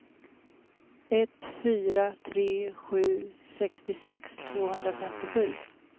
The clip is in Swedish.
ett fyra tre sju sextiosex tvåhundrafemtiosju